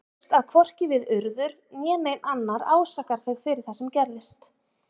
Þú veist að hvorki við Urður né neinn annar ásakar þig fyrir það sem gerðist.